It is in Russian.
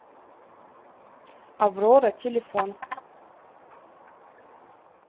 аврора телефон